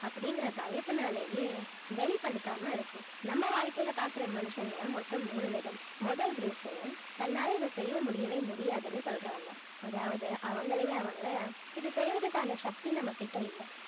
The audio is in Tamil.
அப்படிங்கிற பயத்தினாலயே வெளிப்படுத்தாம இருக்கும் நம்ம வாழ்க்கையிலே பார்க்கிற மனுஷங்க மொத்தம் மூணு விதம் முதல் group உ தன்னால இதை செய்ய முடியவே முடியாதுன்னு சொல்றவங்க அதாவது அவங்களே அவங்க இதை செய்யறதுக்கான சக்தி நம்மகிட்ட இல்லை